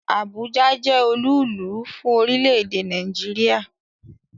Abuja jẹ́ olúùlú fún orílẹ̀-èdè Nàìjíríà